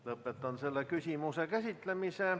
Lõpetan selle küsimuse käsitlemise.